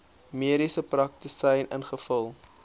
mediese praktisyn ingevul